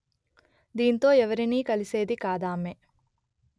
దీంతో ఎవరినీ కలిసేది కాదామె